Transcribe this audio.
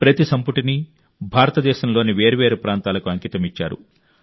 ప్రతి సంపుటిని భారతదేశంలోని వేర్వేరు ప్రాంతాలకు అంకితమిచ్చారు